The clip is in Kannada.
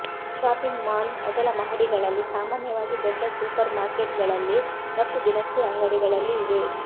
ಶಾಪಿಂಗ್ ಮಾಲ್ ಮೊದಲ ಮಹಡಿಗಳಲ್ಲಿ ಸಾಮಾನ್ಯವಾಗಿ ದೊಡ್ಡ ಸೂಪರ್ಮಾರ್ಕೆಟ್ಗಳಲ್ಲಿ ಮತ್ತು ದಿನಸಿ ಅಂಗಡಿಗಳಲ್ಲಿ ಇವೆ